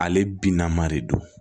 Ale bina ma de don